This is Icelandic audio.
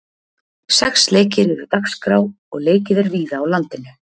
Sex leikir eru dagskrá og leikið er víða á landinu.